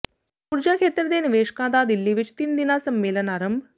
ਊਰਜਾ ਖੇਤਰ ਦੇ ਨਿਵੇਸ਼ਕਾਂ ਦਾ ਦਿੱਲੀ ਵਿੱਚ ਤਿੰਨ ਦਿਨਾ ਸੰਮੇਲਨ ਆਰੰਭ